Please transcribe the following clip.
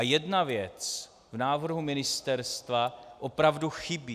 A jedna věc v návrhu Ministerstva opravdu chybí.